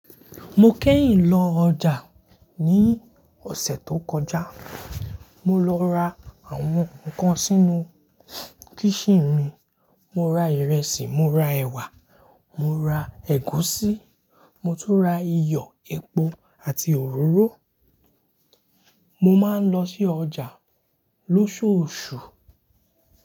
Mo kẹ́yìn lọ ọjà ní ọ̀sẹ̀ tó kọjá. Mo lọ ra àwọn nǹkan sínú kíshin mi. Mo ra ìrẹsì, mo ra ẹ̀wà, mo ra ẹ̀gúsí, mo tún ra iyọ̀, epo àti òróró. Mo máa ń lọ sí ọjà lóṣoosu.